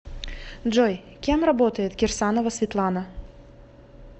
джой кем работает кирсанова светлана